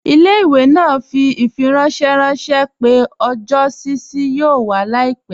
Ilẹ̀-ìwé naa fi ifiranṣẹ ranṣẹ̀ pẹ̀ ọjọ́ ṣíṣí yóò wà làìpẹ.